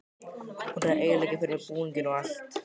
Hún er að eyðileggja fyrir mér búninginn og allt.